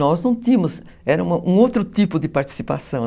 Nós não tínhamos, era um outro tipo de participação.